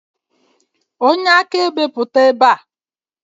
Onye akaebe pụta ebe a!